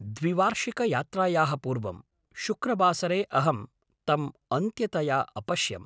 द्विवार्षिकयात्रायाः पूर्वं शुक्रवासरे अहं तम् अन्त्यतया अपश्यम्।